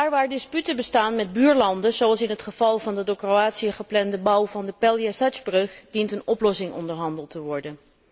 Waar disputen bestaan met buurlanden, zoals in het geval van de door Kroatië geplande bouw van de Pelješac brug, dient een oplossing onderhandeld te worden.